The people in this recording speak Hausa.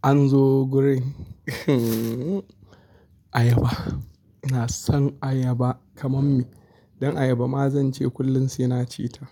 An zo gurin ayaba. Ina son ayaba kamar me. Dan ayaba ma zance kullum sai na ci ta,